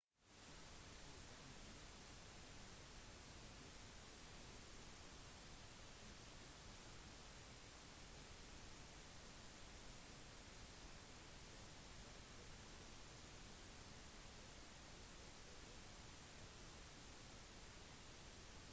på denne måten kommer du ikke til å slite deg ut like mye husk at det ikke er behov for å treffe tangentene med mye kraft for ekstra volum som på pianoet